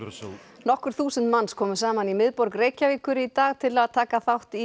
nokkur þúsund manns komu saman í miðborg Reykjavíkur í dag til að taka þátt í